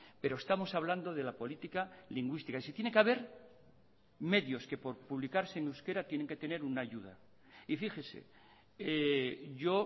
pero estamos hablando de la política lingüística y si tiene que haber medios que por publicarse en euskera tienen que tener una ayuda y fíjese yo